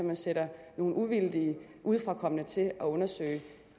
man sætter nogle uvildige udefrakommende til at undersøge